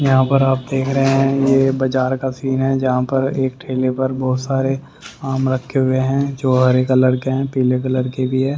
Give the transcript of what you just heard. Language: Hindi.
यहां पर आप देख रहे है ये बाजार का सीन है जहां पर एक ठेले पर बहुत सारे आम रखे हुए है जो हरे कलर के हैं पीले कलर के भी है।